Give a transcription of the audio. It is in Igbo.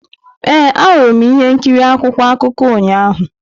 Ee, ahụrụ m ihe nkiri akwụkwọ akụkọ ụnyahụ.